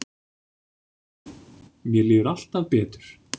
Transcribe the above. Mér líður alltaf betur.